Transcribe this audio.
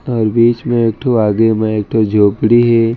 आऊ बीच में एकठो आगे में एकठो झोपडी हे।